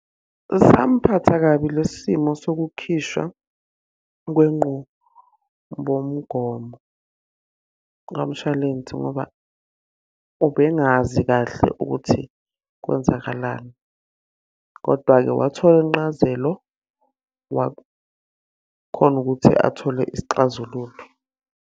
Samuphatha kabi lesi simo sokukhishwa kwenqubomgomo kamshwalense ngoba ubengazi kahle ukuthi kwenzakalani. Kodwa-ke wathola incazelo, wakhona ukuthi athole isixazululo.